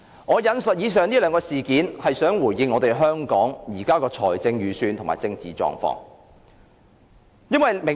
"我引述以上兩件事件，是想回應香港現時的財政預算及政治狀況。